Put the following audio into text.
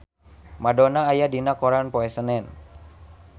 Madonna aya dina koran poe Senen